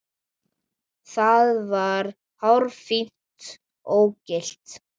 Það var hárfínt ógilt.